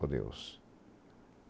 Por Deus.